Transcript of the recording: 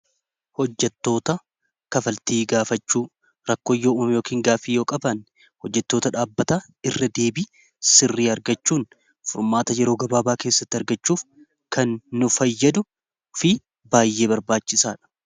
Hojjattoota kaffaltii gaafachuu rakkoon yoo umamme yokiin gaafii yoo qaban hojjetoota dhaabbata irra deebii sirrii argachuun furmaata yeroo gabaabaa keessatti argachuuf kan nu fayyadu fi baay'ee barbaachisaa dha.